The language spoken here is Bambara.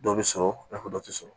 Dɔ bɛ sɔrɔ i n'a fɔ dɔ tɛ sɔrɔ